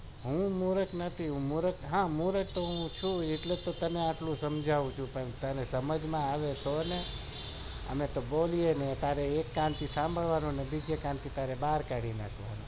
હું મુર્ખ નથી હું મુર્ખ તો છુ એટલે તો તને આટલું સમજવું છુ પણ તને સમજમાં આવે તો ને અમે તો બોલીએ ને એક કાન થી સાંભળવાનું અને બીજે કાન થી બાર કાઢી લખવાનું